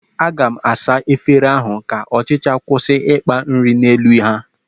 Aga m asa efere ahụ ka ọchịcha kwụsị ịkpa nri n'elu ha